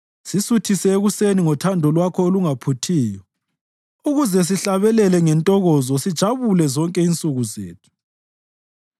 Sisuthise ekuseni ngothando lwakho olungaphuthiyo, ukuze sihlabelele ngentokozo sijabule zonke insuku zethu.